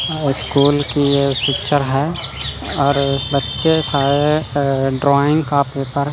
school की यह picture है और बच्चे हैं और ड्राइंग का पेपर --